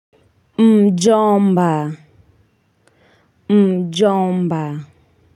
Mjomba mjomba.